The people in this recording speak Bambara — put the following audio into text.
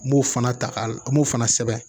N b'o fana ta n b'o fana sɛbɛn